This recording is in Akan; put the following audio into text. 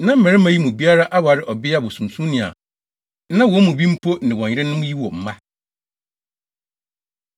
Na mmarima yi mu biara aware ɔbea bosonsomni a na wɔn mu bi mpo ne wɔn yerenom yi wɔ mma.